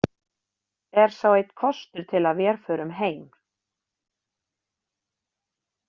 Er sá einn kostur til að vér förum heim.